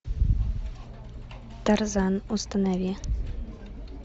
тарзан установи